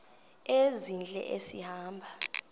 ezintle esi hamba